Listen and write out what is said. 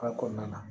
kɔnɔna na